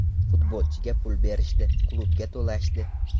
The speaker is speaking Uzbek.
Futbolchiga pul berishdi, klubga to‘lashdi.